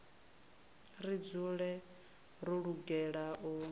ri dzule ro lugela u